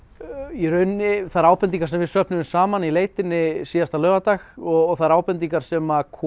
í rauninni þær ábendingar sem við söfnuðum saman í leitinni síðasta laugardag og þær ábendingar sem komu